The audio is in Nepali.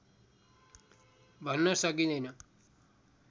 भन्न सकिँदैन